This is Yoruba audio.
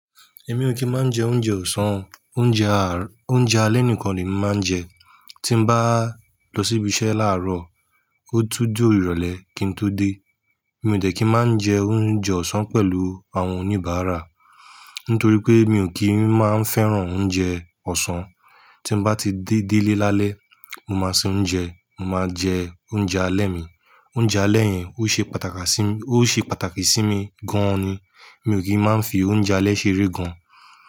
Èmi ò kí ń máa ń jẹ oúnjẹ ọ̀sán, oúnjẹ ar oúnjẹ alẹ́ nìkan ni emi maa ń jẹ. Tí n bá lọ síbi iṣẹ́ láàárọ̀, ó tún dí irole kín tó dé. Èmi ò de kí ń máa ń jẹ oúnjẹ ọ̀sán pẹ̀lú àwọn oníbàárà, nítorí pé mi ò kí ń máa ń fẹ́ràn oúnjẹ ọ̀sán. Tí m bá ti gé délé lálẹ́, mo máa sin oúnjẹ, mo máa jẹ oúnjẹ alẹ́ mi. Oúnjẹ alẹ́ yẹn ó ṣe pàtàkì sí, ó ṣe pàtàkì sí mi gan-an ni. Mi ò kí ń máa ń fi oúnjẹ alẹ́ ṣeré gan-an.